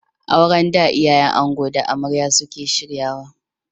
Auren da iyayen ango da amarya ne suke shiryawa.